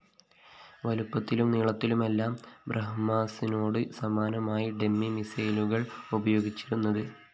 വലുപ്പത്തിലും നീളത്തിലുമെല്ലാം ബ്രഹ്മോസിനോടു സമാനമായ ഡെമ്മി മിസൈലുകളാണ് ഉപയോഗിച്ചിരുന്നത്